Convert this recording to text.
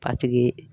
A tigi